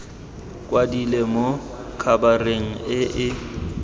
kwadilwe mo khabareng e e